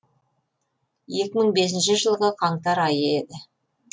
екі мың бесінші жылғы қаңтар айы еді